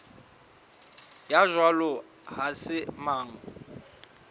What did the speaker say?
ya jwalo ha se mang